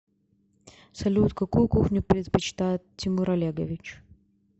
салют какую кухню предпочитает тимур олегович